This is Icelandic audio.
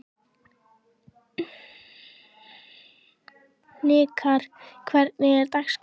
Hnikarr, hvernig er dagskráin?